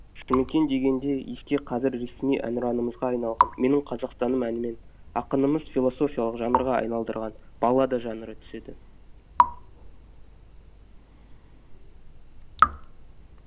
жұмекен дегенде еске қазір ресми әнұранымызға айналған менің қазақстаным әнімен ақынымыз философиялық жанрға айналдырған баллада жанры түседі